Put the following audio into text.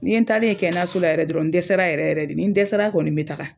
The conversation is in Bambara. Nin yen n talen ye kɛnɛyaso la yɛrɛ dɔrɔn, n dɛsɛra yɛrɛ yɛrɛ de, nin dɛsɛra kɔni bɛ taaga.